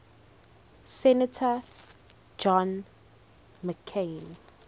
senator john mccain